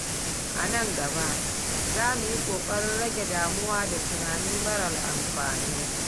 A nan gaba, za mu yi ƙoƙarin rage damuwa da tunani marar alfanu.